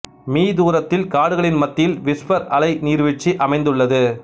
me தூரத்தில் காடுகளின் மத்தியில் விஸ்பர் அலை நீர்வீழ்ச்சி அமைந்துள்ளது